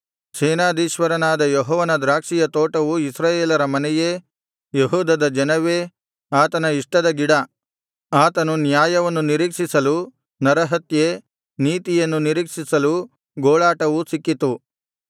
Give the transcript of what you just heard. ಸೇನಾಧೀಶ್ವರನಾದ ಯೆಹೋವನ ದ್ರಾಕ್ಷಿಯ ತೋಟವು ಇಸ್ರಾಯೇಲರ ಮನೆಯೇ ಯೆಹೂದದ ಜನವೇ ಆತನ ಇಷ್ಟದ ಗಿಡ ಆತನು ನ್ಯಾಯವನ್ನು ನಿರೀಕ್ಷಿಸಲು ನರಹತ್ಯೆ ನೀತಿಯನ್ನು ನಿರೀಕ್ಷಿಸಿಲು ಗೋಳಾಟವೂ ಸಿಕ್ಕಿತ್ತು